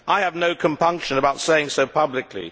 I have no compunction about saying so publicly.